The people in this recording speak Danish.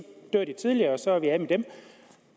dør tidligere og så er vi af med dem